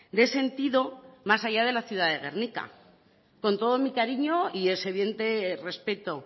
de sentido más allá de la ciudad de gernika con todo mi cariño y ese evidente respeto